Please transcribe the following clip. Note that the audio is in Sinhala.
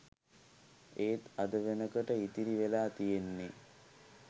එත් අද වෙනකොට ඉතිරි වෙලා තියෙන්නේ